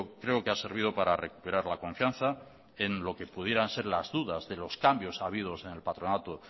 creo que ha servido para recuperar la confianza en lo que pudieran ser las dudas de los cambios habidos en el patronato